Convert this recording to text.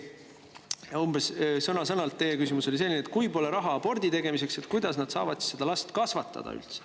Teie küsimus oli umbes selline, et kui neil pole raha isegi abordi tegemiseks, siis kuidas nad saavad selle lapse üles kasvatada.